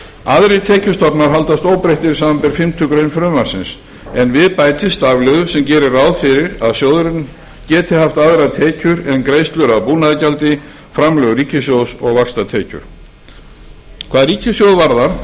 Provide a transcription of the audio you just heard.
aðrir tekjustofnar haldast óbreyttir samanber fimmtu grein frumvarpsins en við bætist stafliður sem gerir ráð fyrir að sjóðurinn geti haft aðrar tekjur en greiðslur af búnaðargjaldi framlög ríkissjóðs og vaxtatekjur hvað ríkissjóð varðar